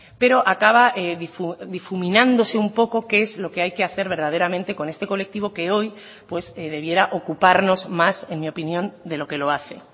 pero acaba difuminándose un poco qué es lo que hay que hacer verdaderamente con este colectivo que hoy pues debiera ocuparnos más en mi opinión de lo que lo hace